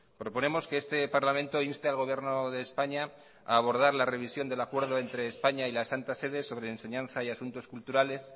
proponemos que este parlamento inste al gobierno de españa a abordar la revisión del acuerdo entre españa y la santa sede sobre enseñanza y asuntos culturales